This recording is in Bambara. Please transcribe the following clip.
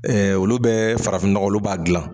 Olu bɛ farafinnɔgɔ, olu b'a dilan.